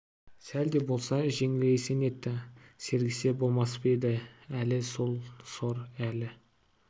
сәл де болса жеңілейсе нетті сергісе болмас па еді жоқ әлі сол сор әлі